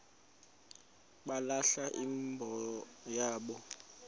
balahla imbo yabo